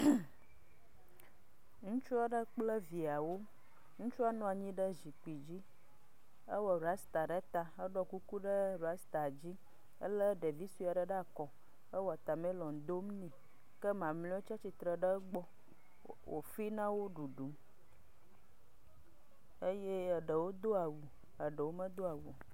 Nyɔnuvi le xɔme ye woziɔ ɖe kplɔ nu. Kaƒomɔ le kplɔ dzi agba gbadzɛ le egbɔ, seƒoƒo vovovowo le emegbe. Kɔ gatsi ƒo gli eye agba gobiwo hã le egbɔ.